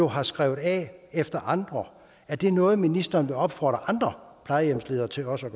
har skrevet af efter andre at det er noget ministeren vil opfordre andre plejehjemsledere til også